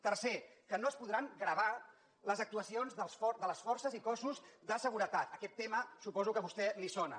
tercera que no es podran gravar les actuacions de les forces i cossos de seguretat aquest tema suposo que a vostè li sona